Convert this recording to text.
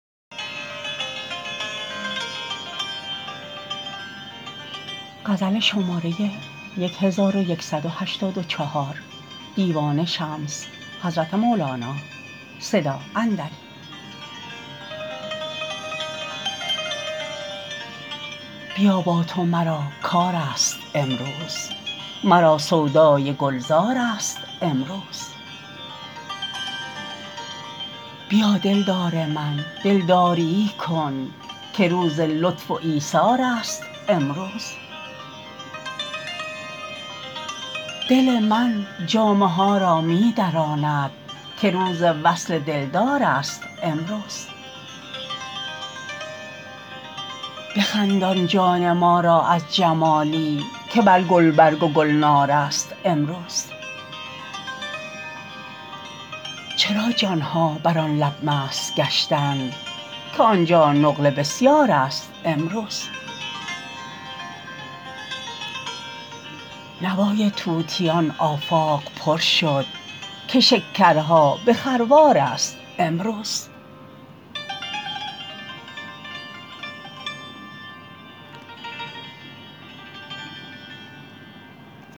بیا با تو مرا کارست امروز مرا سودای گلزارست امروز بیا دلدار من دلداریی کن که روز لطف و ایثارست امروز دل من جامه ها را می دراند که روز وصل دلدارست امروز بخندان جان ما را از جمالی که بر گلبرگ و گلنارست امروز چرا جان ها بر آن لب مست گشتند که آن جا نقل بسیارست امروز نوای طوطیان آفاق پر شد که شکرها به خروارست امروز